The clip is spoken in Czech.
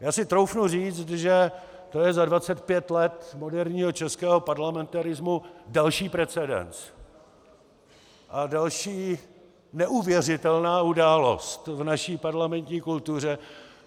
Já si troufnu říct, že to je za 25 let moderního českého parlamentarismu další precedens a další neuvěřitelná událost v naší parlamentní kultuře.